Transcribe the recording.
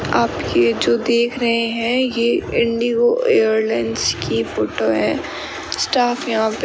आप ये जो देख रहे हैं ये इंडिगो एयरलाइंस की फोटो है स्टाफ यहां पे --